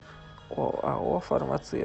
оао фармация